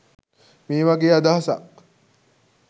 මේ වගේ අදහසක්.